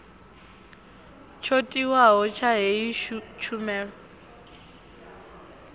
tsho tiwaho tsha heyi tshumelo